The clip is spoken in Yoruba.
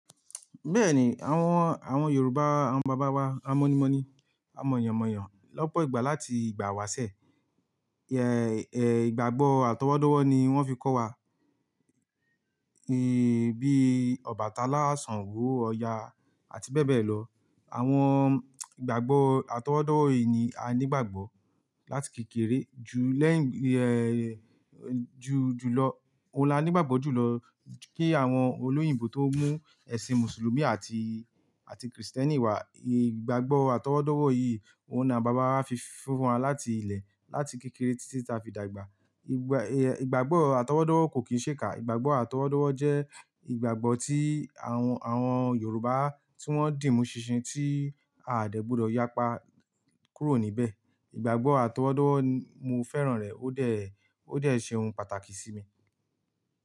Bẹ́ẹ̀ni àwọn, àwọn Yorùbá àwọn bàbá wa, a mọ́'ni mọ́'ni, a mọ̀yàn mọ̀yàn lọ́pọ̀ ìgbà láti ìgbà wá ṣẹ. Ìgbàgbọ́ àtọwọ́dọ́wọ́ ni wón fi kọ́ wa bí Ọbàtálá, Ṣàngó, Ọya àti bẹ́ẹ̀ bẹ́ẹ̀ lọ. Àwọn ìgbàgbọ́ àtọwọ́dọ́wọ̀ yìí ni a nígbàgbọ́ láti kékeré ju lẹ́yìn ju, ju lọ, ó lá nígbàgbọ́ jùlọ kí àwọn olóyìnbo tó mú ẹ̀sìn mùsùlùmí àti, àti kìrìsìtẹ́nì wá. Ìgbàgbọ́ àtọwọ́dọ́wọ̀ yìí ló na bàbá wa fi fún wa láti ilé láti kékeré títí ta fi dàgbà. Ìgbà, ìgbàgbọ́ àtọwọ́dọ́wọ́ kò kín ṣe é kà. Ìgbàgbọ́ àtọwọ́dọ́wọ́ jẹ́ ìgbàgbọ́ tí àwọn, àwọn Yorùbá tí wọ́n dì mú ṣinṣin tí a àdègbùdọ̀ yapa kúrò níbẹ̀. Ìgbàgbọ́ àtọwọ́dọ́wọ́ mo fẹ́ràn rẹ̀, ó dẹ̀, ó dẹ̀ ṣe ohun pàtàkì sí mi.